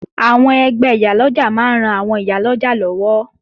Àwọn ẹgbẹ́ Ìyálọ́jà máa ń ran àwọn ìyá ọlọ́jà lọ́wọ́